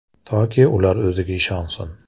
Toki ular o‘ziga ishonsin.